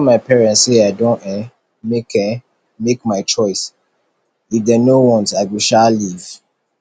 i go tell my parents say i don um make um make my choice if dey no want i go um leave